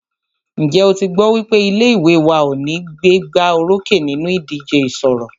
Ǹjẹ́ o tí gbọ́ wípé ilé ìwé wa ní o gbégbá orókè nínú ìdíje ìṣọ̀rọ̀?